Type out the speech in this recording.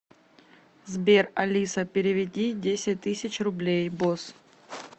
сбер алиса переведи десять тысяч рублей босс